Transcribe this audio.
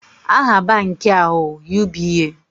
Aha banki a ụ UBA